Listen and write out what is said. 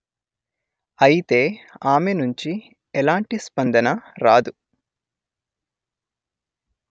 అయితే ఆమె నుంచి ఎలాంటి స్పందన రాదు